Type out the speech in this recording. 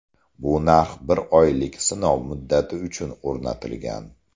Bu narx bir oylik sinov muddati uchun o‘rnatilgan.